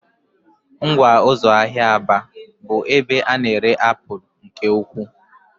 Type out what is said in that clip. Ngwa ụzọ ahịa Aba bụ ebe a na-ere apụl nke ukwuu.